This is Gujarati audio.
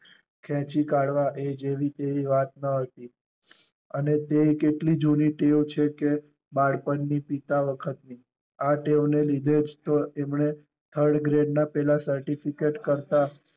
ખેચી કાઢવા એ જેવી તેવી વાત ન હતી અને તેય કેટલી જૂની ટેવ છે કે બાળપણ ની પિતા વખત ની. આ ટેવ ને લીધે જ તો એમણે third grade ના પેલા certificate કરતાં